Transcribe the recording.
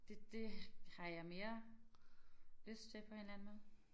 Det det har jeg mere lyst til på en eller anden måde